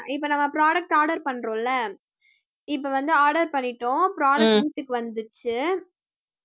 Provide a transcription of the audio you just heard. இப்போ நம்ம product order பண்றோம்ல இப்ப வந்து order பண்ணிட்டோம் product க்கு வீட்டுக்கு வந்துருச்சு